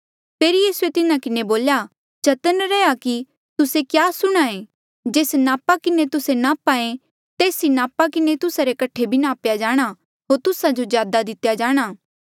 फेरी यीसूए तिन्हा किन्हें बोल्या चतन्न रैहया कि तुस्से क्या सुणहां ऐें जेस नापा किन्हें तुस्से नाप्हा ऐें तेस ई नापा किन्हें तुस्सा रे कठे भी नाप्या जाणा होर तुस्सा जो ज्यादा दितेया जाणा